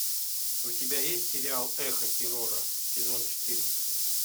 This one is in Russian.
у тебя есть сериал эхо террора сезон четырнадцать